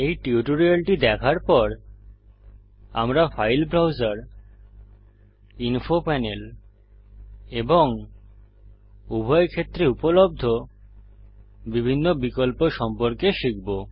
এই টিউটোরিয়ালটি দেখার পর আমরা ফাইল ব্রাউজার ইনফো প্যানেল এবং উভয়ক্ষেত্রে উপলব্ধ বিভিন্ন বিকল্প সম্পর্কে শিখব